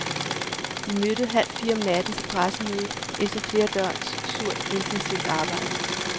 De mødte halvfire om natten til pressemøde efter flere døgns surt, intensivt arbejde.